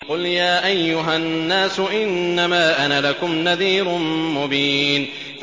قُلْ يَا أَيُّهَا النَّاسُ إِنَّمَا أَنَا لَكُمْ نَذِيرٌ مُّبِينٌ